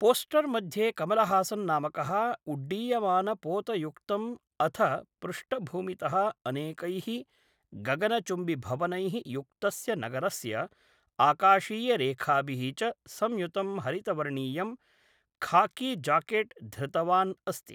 Poster मध्ये कमलहासन् नामकः उड्डीयमानकपोतयुक्तम् अथ पृष्ठभूमितः अनेकैः गगनचुम्बिभवनैः युक्तस्य नगरस्य आकाशीयरेखाभिः च संयुतं हरितवर्णीयं खाकीजाकेट् धृतवान् अस्ति।